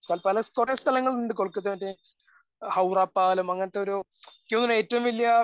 തൽക്കാലം കുറേ സ്ഥലങ്ങളുണ്ട് കൊൽക്കത്ത മറ്റേ ഹൗറാപ്പാലം അങ്ങനത്തെ ഒരു എനിക്ക് തോന്നുന്നു ഏറ്റവും വലിയ